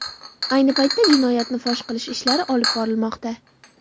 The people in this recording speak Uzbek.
Ayni paytda jinoyatni fosh qilish ishlari olib borilmoqda.